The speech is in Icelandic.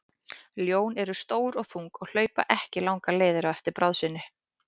Ljón eru stór og þung og hlaupa ekki langar leiðir á eftir bráð sinni.